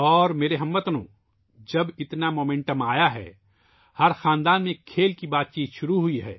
میرے ہم وطنوں ، جب اتنی رفتار آئی ہے ، ہر خاندان میں کھیلوں پر گفتگو شروع ہو گئی ہے